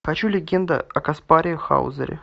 хочу легенда о каспаре хаузере